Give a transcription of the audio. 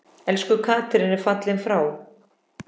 Elsku Katrín er fallin frá.